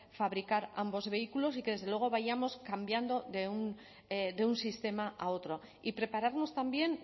fabricar ambos vehículos y que desde luego vayamos cambiando de un sistema a otro y prepararnos también